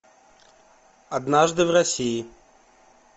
однажды в россии